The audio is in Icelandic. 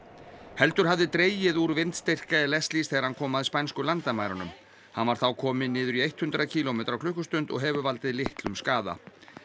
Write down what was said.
heldur hafði dregið úr vindstyrk Leslies þegar hann kom að spænsku landamærunum hann var þá kominn niður í hundrað kílómetra á klukkustund og hefur valdið litlum skaða